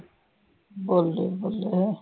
ਬੱਲੇ-ਬੱਲੇ